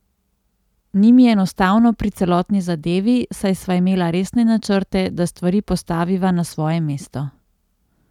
Ni mi enostavno pri celotni zadevi, saj sva imela resne načrte, da stvari postaviva na svoje mesto.